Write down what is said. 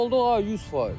Boşda olduq 100%.